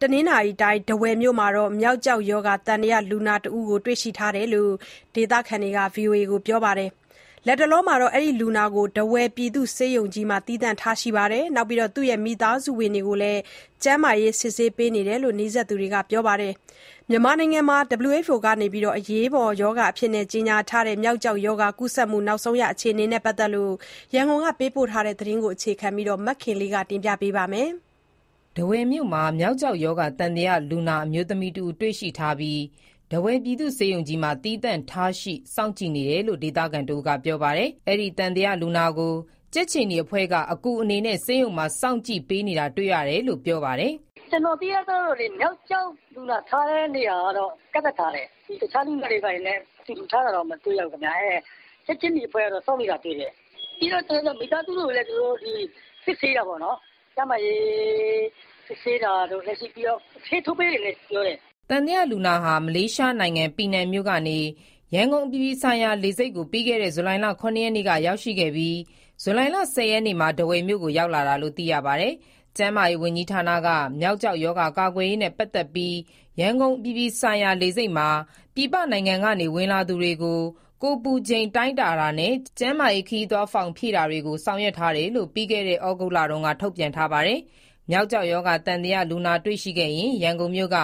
တနင်္သာရီတိုင်း၊ ထားဝယ်မြို့မှာ မျောက်ကျောက်ရောဂါ သံသယလူနာတဦး တွေ့ရှိထားတယ်လို့ ဒေသခံတွေက ပြောပါတယ်။ လူနာကို ထားဝယ်ပြည်သူ့ဆေးရုံကြီးမှာ သီးသန့်ထားရှိပြီးတော့ မိသားစုဝင်တွေကိုလည်း ကျန်းမာရေးစစ်ဆေးနေတယ်လို့ နီးစပ်သူတွေက ပြောပါတယ်။ မြန်မာနိုင်ငံမှာ မျောက်ကျောက်ရောဂါ ကူးစက်မှုအခြေအနေနဲ့ ပတ်သက်လို့ ရန်ကုန်က သတင်းပေးပို့ ထားတာကို အခြေခံပြီး တင်ပြထားပါတယ်။ ထားဝယ်မြို့မှာ မျောက်ကျောက်ရောဂါ သံသယလူနာ အမျိုးသမီးတဦး တွေ့ရှိထားပြီး၊ ထားဝယ်ပြည်သူ့ဆေးရုံကြီးမှာ သီးသန့်ထားရှိ စောင့်ကြည့်နေတယ်လို့ ဒေသခံတဦးက ပြောပါတယ်။ အဲဒီသံသယလူနာကို ကြက်ခြေနီအဖွဲ့က အကူအနေနဲ့ ဆေးရုံမှာ စောင့်ကြည့်ပေးနေတာ တွေ့ရတယ်လို့ ပြောပါတယ်။ "ကျနော်သိရသလောက်တော့ မျောက်ကျောက် (သံသယ) လူနာထားတဲ့ နေရာကတော့ ကန့်သတ်ထားတယ်။ တခြားလူနာတွေ ဘာတွေနဲ့ အတူတူထားတာတော့ မတွေ့ရဘူးခင်ဗျ။ ကြက်ခြေနီအဖွဲ့ကတော့ စောင့်နေတာတွေ့တယ်။ ပြီးတော့ မိသားစုဝင်တွေကိုလည်း သူတို့စစ်ဆေးတာပေါ့နော်။ ကျန်းမာရေး စစ်ဆေးတာတို့၊ ပြီးတော့ ဆေးထိုးပေးတယ်လည်း ပြောတယ်။" သံသယလူနာဟာ မလေးရှားနိုင်ငံ၊ ပီနန်မြို့ကနေ ရန်ကုန်အပြည်ပြည်ဆိုင်ရာ လေဆိပ်ကို ပြီးခဲ့တဲ့ ဇူလိုင်လ ၇ ရက်နေ့က ရောက်ရှိခဲ့ပြီး၊ ဇူလိုင်လ ၁၀ ရက်နေ့မှာ ထားဝယ်မြို့ကို ရောက်လာတာလို့ သိရပါတယ်။ ကျန်းမာရေးဝန်ကြီးဌာနက မျောက်ကျောက်ရောဂါ ကာကွယ်ရေးနဲ့ ပတ်သက်ပြီး ရန်ကုန်အပြည်ပြည်ဆိုင်ရာ လေဆိပ်မှာ ပြည်ပနိုင်ငံကနေ ဝင်လာသူတွေကို ကိုယ်ပူချိန်တိုင်းတာနဲ့ ကျန်းမာရေး ခရီးသွားဖောင်ဖြည့်တာတွေကို ဆောင်ရွက်ထားတယ်လို့ ပြီးခဲ့တဲ့ ဩဂုတ်လတုန်းက ထုတ်ပြန်ထားပါတယ်။ မျောက်ကျောက်ရောဂါ သံသယလူနာ တွေ့ရှိခဲ့ရင် ရန်ကုန်မြို့က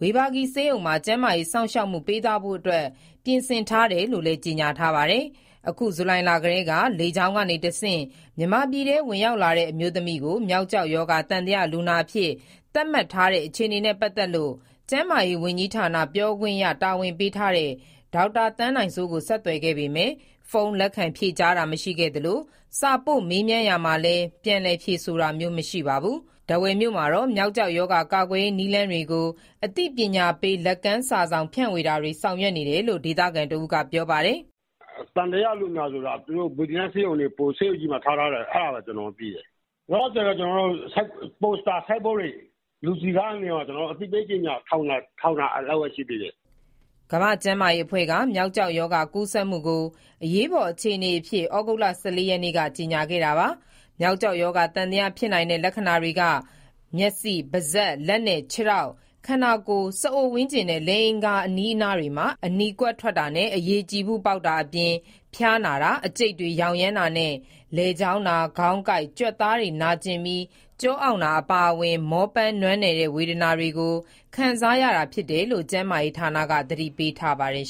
ဝေဘာဂီဆေးရုံမှာ ကျန်းမာရေးစောင့်ရှောက်မှု ပေးသွားဖို့အတွက် ပြင်ဆင်ထားတယ်လို့လည်း ကြေညာထားပါတယ်။ အခု ဇူလိုင်လကတည်းက လေကြောင်းကနေတဆင့် မြန်မာပြည်ထဲ ဝင်ရောက်လာတဲ့ အမျိုးသမီးကို မျောက်ကျောက်ရောဂါ သံသယလူနာအဖြစ် သတ်မှတ်ထားတဲ့ အခြေအနေနဲ့ပတ်သက်လို့ ကျန်းမာရေးဝန်ကြီးဌာန ပြောခွင့်ရတာဝန်ပေးထားတဲ့ ဒေါက်တာသန်းနိုင်စိုးကို ဆက်သွယ်ခဲ့ပေမယ့် ဖုန်းလက်ခံဖြေကြားတာ မရှိခဲ့သလို၊ စာပို့မေးမြန်းရာမှာလည်း ပြန်လည်ဖြေဆိုတာမျိုး မရှိခဲ့ပါဘူး။ ထားဝယ်မြို့မှာတော့ မျောက်ကျောက်ရောဂါ ကာကွယ်ရေးနည်းလမ်းတွေကို အသိပညာပေး လက်ကမ်းစာစောင် ဖြန့်ဝေတာ ဆောင်ရွက်ထားတယ်လို့ ဒေသခံတဦးက ပြောပါတယ်။ "သံသယလူနာကို သူတို့ဆေးရုံကြီးမှာထား ထားတယ်ဆိုတာပဲ ကျနော်တို့သိတယ်။ လောလောဆယ်တော့ ပိုစတာ ဆိုင်းဘုတ်တွေကို လူစည်ကားတဲ့ နေရာတွေမှာ အသိပေးကြေညာ ဒါလောက်ပဲရှိသေးတယ်။" ကမ္ဘာ့ကျန်းမာရေးအဖွဲ့က မျောက်ကျောက်ရောဂါ ကူးစက်မှုကို အရေးပေါ်အခြေအနေအဖြစ် ဩဂုတ်လ ၁၄ ရက်နေ့က ကြေညာခဲ့ပါတယ်။ မျောက်ကျောက်ရောဂါ သံသယဖြစ်နိုင်တဲ့ လက္ခဏာတွေက မျက်စိ၊ ပါးစပ်၊ လက်နဲ့ ခြေထောက်၊ ခန္ဓာကိုယ်၊ စအိုဝန်းကျင်နဲ့ လိင်အင်္ဂါ အဲဒီနေရာတွေမှာ အနီကွက်ထွက်တာနဲ့ အရည်ကြည်ဖုပေါက်တာအပြင် ဖျားနာတာ၊ အကျိတ်တွေရောင်ရမ်းတာနဲ့ လည်ချောင်းနာ၊ ခေါင်းကိုက်၊ ကြွက်သားတွေနာကျင်ပြီး ကျောအောင့်တာ အပါအဝင် မောပန်းနွမ်းနယ်တဲ့ ဝေဒနာတွေကို ခံစားရတာဖြစ်တယ်လို့ ကျန်းမာရေးဌာနက သတိပေးထားပါတယ်